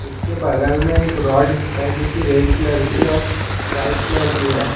उसके बगल में एक रॉड है जो कि रेड कलर की है व्हाइट कलर की है।